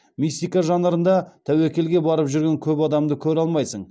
мистика жанрында тәуекелге барып жүрген көп адамды көре алмайсың